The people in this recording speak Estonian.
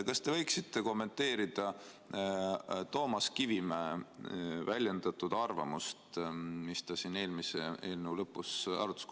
Kas te võiksite kommenteerida Toomas Kivimäe väljendatud arvamust, mis ta siin eelmise eelnõu lõpus väljendas?